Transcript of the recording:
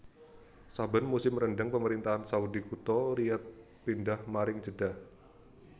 Saben musim rendeng Pemerintahan Saudi kutha Riyadh pindhah maring Jeddah